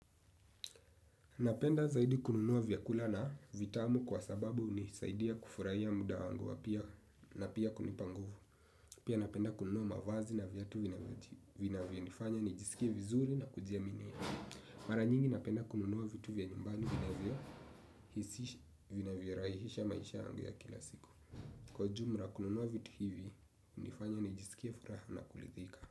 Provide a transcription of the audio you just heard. Napenda zaidi kununua vyakula na vitamu kwa sababu hunisaidia kufurahia muda wangu wapia na pia kunipanguvu. Pia napenda kununua mavazi ya vyatu vya vina vinavyonifanya nijisikie vizuri na kujiaminia. Mara nyingi napenda kununua vitu vya nyumbani vinavyo hisisha vinavyo rahisisha maisha yangu ya kila siku. Kwa ujumla kununua vitu hivi hunifanya nijisikie furaha na kulithika.